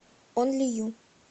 онли ю